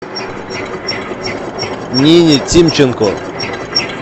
нине тимченко